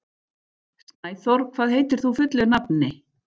Snæþór, hvað heitir þú fullu nafni?